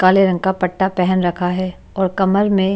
काले रंग का पट्टा पहन रखा है और कमर में --